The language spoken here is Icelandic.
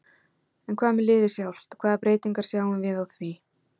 En hvað með liðið sjálft hvaða breytingar sjáum við á því?